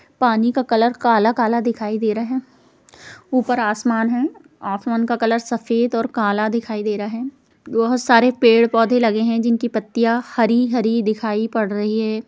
पानी का कलर काला-काला दिखाई दे रहा है ऊपर आसमान है आसमान का कलर सफेद और काला दिखाई दे रहा है बहुत सारे पेड़-पौधे लगे हैं जिनकी पत्तियाँ हरी-हरी दिखाई पड़ रही है।